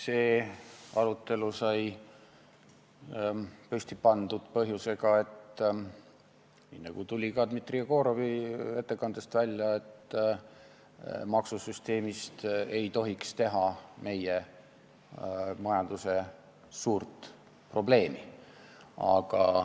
See arutelu sai püsti pandud põhjusega – nii nagu tuli välja ka Dmitri Jegorovi ettekandest –, et maksusüsteemist ei tohiks teha meie majanduse suurt probleemi.